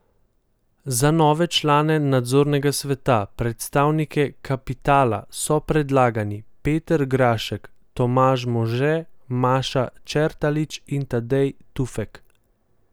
Za nove člane nadzornega sveta, predstavnike kapitala, so predlagani Peter Grašek, Tomaž Može, Maša Čertalič in Tadej Tufek.